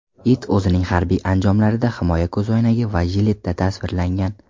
It o‘zining harbiy anjomlarida himoya ko‘zoynagi va jiletda tasvirlangan.